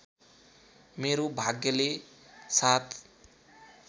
मेरो भाग्यले साथ